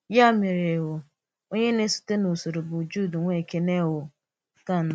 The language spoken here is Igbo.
Yà mere, um onye na-èsòte n’usoro bụ̀ Júdà, nwá Èkénè um nke anọ̀.